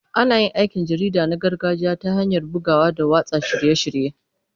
Ana yin aikin jarida na gargajiya ta hanyar bugawa da watsa shirye-shirye.